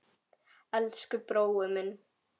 Elsku brói minn.